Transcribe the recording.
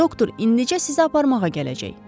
Doktor indicə sizi aparmağa gələcək.